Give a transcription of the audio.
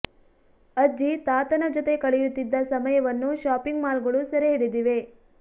ಅಜ್ಜಿ ತಾತನ ಜೊತೆ ಕಳೆಯುತಿದ್ದ ಸಮಯವನ್ನು ಶಾಪಿಂಗ್ ಮಾಲ್ ಗಳು ಸೆರೆ ಹಿಡಿದಿವೆ